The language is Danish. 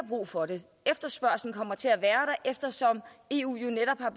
brug for det efterspørgslen kommer til at være eftersom eu jo netop har